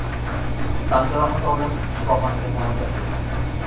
tan jarohati olib shifoxonaga murojaat qilgan.